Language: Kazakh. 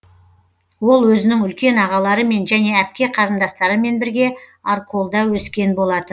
ол өзінің үлкен ағаларымен және әпке қарындастарымен бірге арколда өскен болатын